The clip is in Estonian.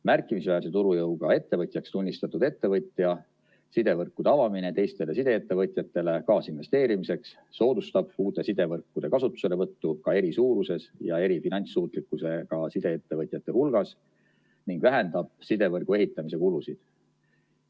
Märkimisväärse turujõuga ettevõtjaks tunnistatud ettevõtja sidevõrkude avamine teistele sideettevõtjatele kaasinvesteerimiseks soodustab uute sidevõrkude kasutuselevõttu ka eri suuruses ja eri finantssuutlikkusega sideettevõtjate hulgas ning vähendab sidevõrgu ehitamise kulusid.